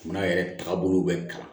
Jamana yɛrɛ tagabolow bɛ kalan